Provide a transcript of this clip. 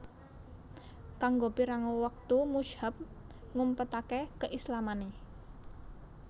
Kanggo pirang wektu Mushab ngumpetake keislamane